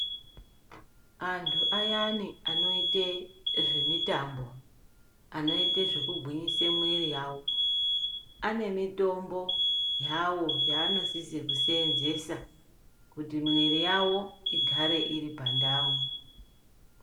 Anti ayani anoite zvemitambo ,anoita zvekugwinyise mwiri yavo, ane mitombo yavo yaanosise kuseenzesa kuti mwiri yavo igare iri pandau.